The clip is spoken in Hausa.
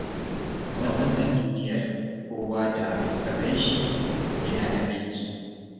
A wannan duniyar, kowa da ka gan shi, yana da hakki.